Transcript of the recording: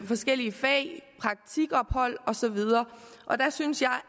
forskellige fag praktikophold osv og der synes jeg